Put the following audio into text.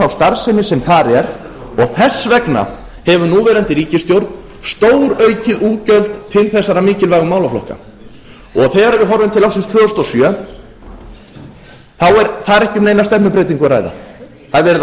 starfsemi sem þar er og þess vegna hefur núverandi ríkisstjórn stóraukið útgjöld til þessara mikilvægu málaflokka þegar við horfum til ársins tvö þúsund og sjö er þar ekki um neina stefnubreytingu að ræða það er verið að